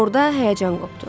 Orda həyəcan qopdu.